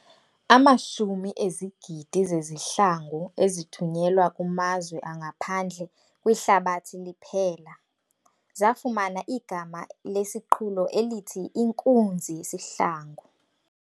Amashumi ezigidi zezihlangu ezithunyelwa kumazwe angaphandle kwihlabathi liphela, zafumana igama lesiqhulo elithi "inkunzi yesihlangu".